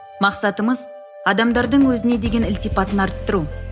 мақсатымыз адамдардың өзіне деген ілтипатын арттыру